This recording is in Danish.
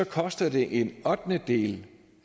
koster det en ottendedel